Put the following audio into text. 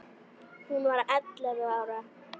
Hún var ellefu ára.